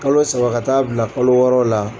Kalo saba ka taa bila kalo wɔɔrɔ la